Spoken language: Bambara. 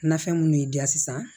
Nafɛn minnu y'i diya sisan